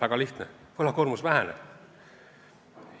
Väga lihtsal põhjusel: võlakoormus väheneb.